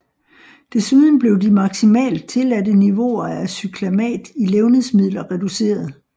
Desuden blev de maksimalt tilladte niveauer af cyklamat i levnedsmidler reduceret